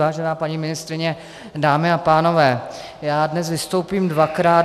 Vážená paní ministryně, dámy a pánové, já dnes vystoupím dvakrát.